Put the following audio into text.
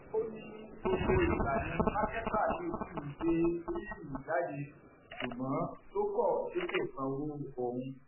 ó ní gbogbo ìgbà ni mákẹtà yìí ṣì ń gbé fíìmù jáde ṣùgbọn tó kọ tí kò sanwó òun